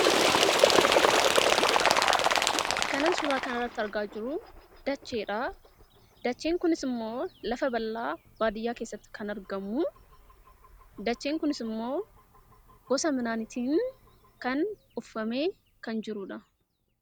Kan suuraa kanarratti argaa jirru dacheedha. Dacheen kunis immoo lafa bal'aa baadiyyaa keessatti kan argamu yoo ta'u, gosa midhaaniitiin uffifamee kan jirudha.